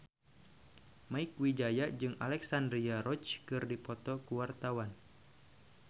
Mieke Wijaya jeung Alexandra Roach keur dipoto ku wartawan